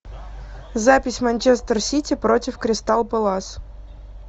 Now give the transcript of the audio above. запись манчестер сити против кристал пэлас